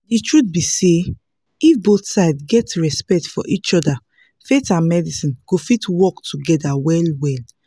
the truth be say if both sides get respect for each other faith and medicine go fit work together well well